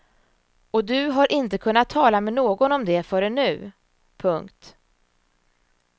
Och du har inte kunnat tala med någon om det förrän nu. punkt